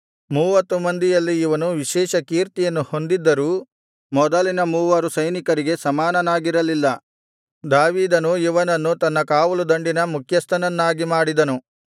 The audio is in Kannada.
ಮೂವತ್ತು ಮಂದಿಯಲ್ಲಿ ಇವನು ವಿಶೇಷ ಕೀರ್ತಿಯನ್ನು ಹೊಂದಿದ್ದರೂ ಮೊದಲಿನ ಮೂವರು ಸೈನಿಕರಿಗೆ ಸಮಾನನಾಗಿರಲಿಲ್ಲ ದಾವೀದನು ಇವನನ್ನು ತನ್ನ ಕಾವಲುದಂಡಿನ ಮುಖ್ಯಸ್ಥನನ್ನಾಗಿ ಮಾಡಿದನು